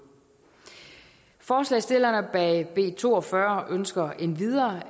forslagsstillerne bag b to og fyrre ønsker endvidere